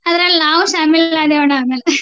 ಅದ್ರಲ್ಲ್ ನಾವು शामिल ಆದೇವಣ್ಣ ಆಮೇಲೆ.